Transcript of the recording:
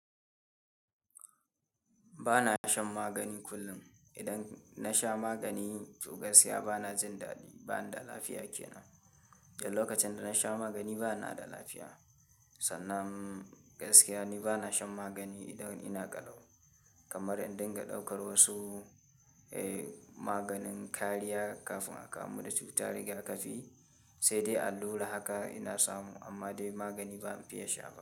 Ba na shan magani kullum. Idan na sha magani, to gaskiya ba na jin daɗi, ba ina da lafiya ke nan. Da lokacin da na sha magani ba na da lafiya, sannan gaskiya ne ba na shan magani idan ina ƙalau. Kamar in dinga ɗaukar wasu, eh, maganin kariya kafin aka amuda cutar rigakafi, sai dai allura haka ina samu amma dai magani ba zan fiya sha ba.